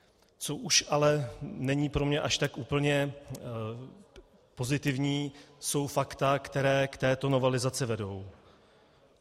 Co už ale není pro mě až tak úplně pozitivní, jsou fakta, která k této novelizaci vedou.